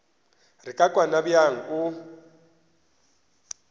re ka kwana bjang o